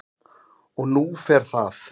Og nú fer það